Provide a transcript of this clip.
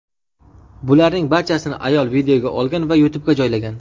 Bularning barchasini ayol videoga olgan va YouTube’ga joylagan.